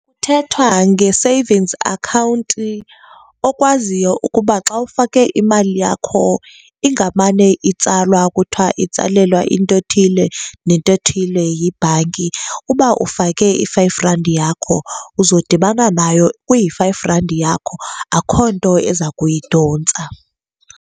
Kuthethwa nge-savings account okwaziyo ukuba xa ufake imali yakho ingamane itsalwa kuthiwa itsalelwa into ethile nento ethile yibhanki. Uba ufake i-five randi yakho, uzodibana nayo kuyi-five randi yakho, akho nto eza kuyidontsa.